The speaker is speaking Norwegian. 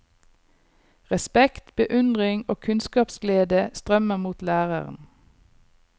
Respekt, beundring og kunnskapsglede strømmer mot læreren.